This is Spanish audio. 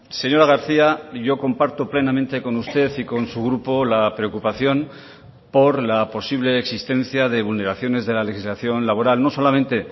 señora garcía yo comparto plenamente con usted y con su grupo la preocupación por la posible existencia de vulneraciones de la legislación laboral no solamente